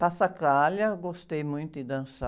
gostei muito de dançar.